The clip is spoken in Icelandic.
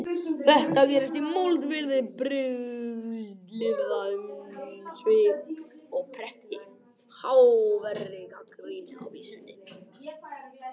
Þetta gerist í moldviðri brigslyrða um svik og pretti og háværri gagnrýni á vísindin.